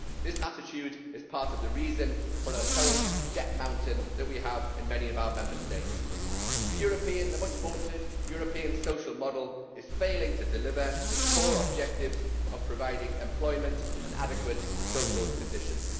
This attitude is part of the reason for the current debt mountain that we have in many of our Member States. The much vaunted European social model is failing to deliver its core objectives of providing employment and adequate social conditions.